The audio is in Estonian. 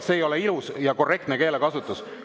See ei ole ilus ja korrektne keelekasutus.